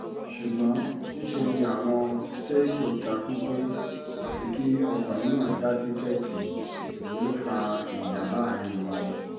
ṣùgbọ́n níṣẹ́ ni àwọn seigo ta kú pé àfi kí ọkùnrin náà já tíkẹ́ẹ̀tì èyí ló fa ìjà láàrin wọn